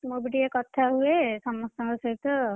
ମୁଁ ବି ଟିକେ କଥାହୁଏ, ସମସ୍ତଙ୍କ ସହିତ।